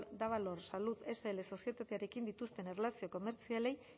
davalor salud sl sozietatearekin dituzten erlazio komertzialei